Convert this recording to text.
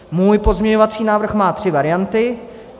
Můj pozměňovací návrh má tři varianty.